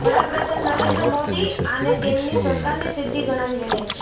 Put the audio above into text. વડા પ્રધાન નરેન્દ્ર મોદી આને તેમની સરકારની સિદ્ધિ ગણાવી રહ્યા છે